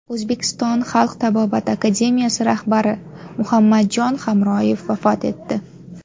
O‘zbekiston xalq tabobati akademiyasi rahbari Muhammadjon Hamroyev vafot etdi.